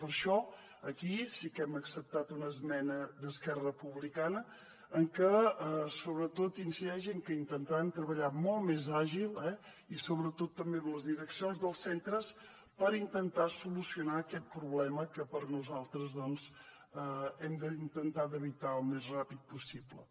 per això aquí sí que hem acceptat una esmena d’esquerra republicana que sobretot incideix en que intentaran treballar molt més àgil i sobretot també amb les direccions dels centres per intentar solucionar aquest problema que per nosaltres hem d’intentar d’evitar al més ràpid possible